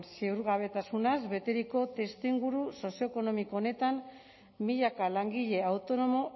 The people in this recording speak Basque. ziurgabetasunaz beteriko testuinguru sozioekonomiko honetan milaka langile autonomo